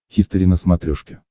хистори на смотрешке